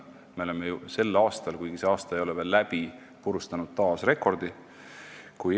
Me oleme ju sel aastal, kuigi see ei ole veel läbi, taas rekordi purustanud.